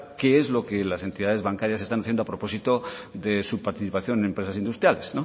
que es lo que las entidades bancarias están haciendo a propósito de su participación en empresas industriales